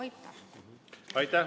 Aitäh!